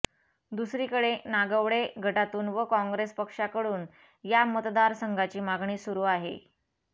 दुसरीकडे नागवडे गटाकडून व काँग्रेस पक्षाकडून या मतदार संघाची मागणी सुरू आहे